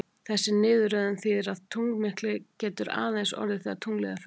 Þessi niðurröðun þýðir að tunglmyrkvi getur aðeins orðið þegar tunglið er fullt.